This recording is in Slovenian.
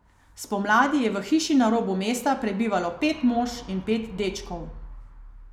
Spomladi je v hiši na robu mesta prebivalo pet mož in pet dečkov.